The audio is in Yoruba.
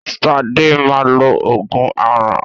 Sadé máa lo oògùn aràn